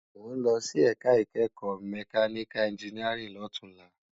Mó n lòsí èká ikèékò mèkániká ènjìníárìn lòtúnlá